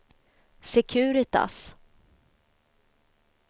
Securitas